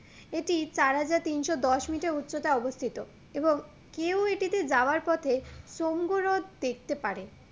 এটি চার হাজার তিনশো দশ মিটার উচ্চতায় অবস্থিত এবং কেউ এটিতে যাবার পথে সমগো রথ দেখতে পারে